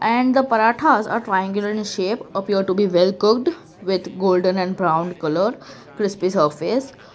and the paratha are triangle in shape appear to be well cooked with golden and brown colour crispy surface.